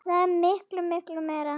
Þetta er miklu, miklu meira.